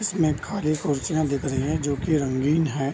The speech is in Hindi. इसमें खाली कुर्सियाँ दिख रखी हैं जो की रंगीन है।